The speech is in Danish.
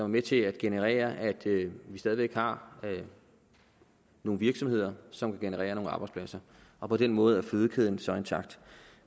med til at generere at vi stadig væk har nogle virksomheder som kan generere nogle arbejdspladser og på den måde er fødekæden så intakt